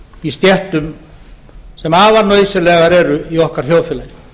í stéttum sem afar nauðsynlegar eru í okkar þjóðfélagi